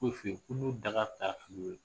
bo f'i ye